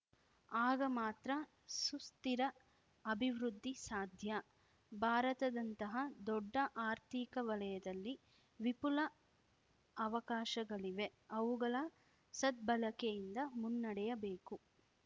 ಆಗ ಮಾತ್ರ ಸುಸ್ಥಿರ ಅಭಿವೃದ್ಧಿ ಸಾಧ್ಯ ಭಾರತದಂತಹ ದೊಡ್ಡ ಆರ್ಥಿಕ ವಲಯದಲ್ಲಿ ವಿಪುಲ ಅವಕಾಶಗಳಿವೆ ಅವುಗಳ ಸದ್ಭಳಕೆ ಯಿಂದ ಮುನ್ನಡೆಯಬೇಕು